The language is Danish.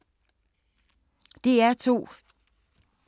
DR2